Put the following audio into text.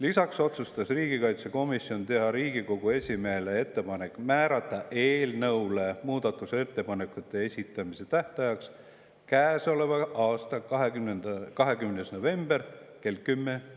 Lisaks otsustas riigikaitsekomisjon teha Riigikogu esimehele ettepaneku määrata muudatusettepanekute esitamise tähtajaks käesoleva aasta 20. november kell 10.